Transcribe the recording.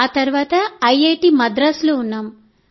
ఆ తర్వాత ఐఐటీ మద్రాస్లో ఉన్నాం